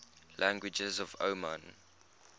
languages of oman